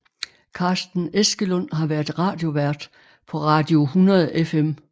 Carsten Eskelund har været radiovært på Radio 100 FM